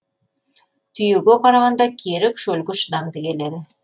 түйеге қарағанда керік шөлге шыдамды келеді